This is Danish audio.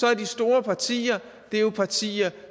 er de store partier jo partier